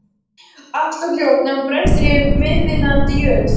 Allt var hljótt, nema brestir í þiðnandi jörð.